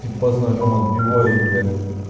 типа с ножом отбиваюсь блять